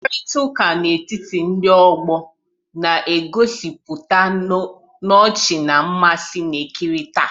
Mkparịta ụka n'etiti ndị ọgbọ na-ejupụtakarị n'ọchị na mmasị na-ekerịta.